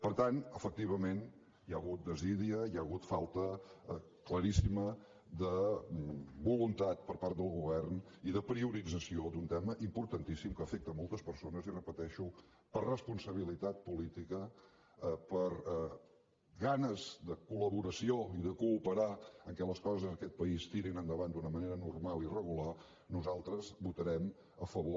per tant efectivament hi ha hagut desídia hi ha hagut falta claríssima de voluntat per part del govern i de priorització d’un tema importantíssim que afecta moltes persones i ho repeteixo per responsabilitat política per ganes de col·laboració i de cooperar perquè les coses en aquests país tirin endavant d’un manera normal i regular nosaltres hi votarem a favor